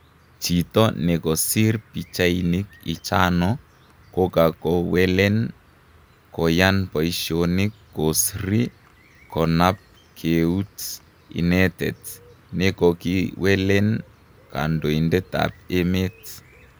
Jito nekosir pichainik ichano kokakowelen koyan paishonik kosri konap keut inetet nekokiwelen kandoitet ap emet .